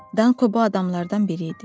Danko bu adamlardan biri idi.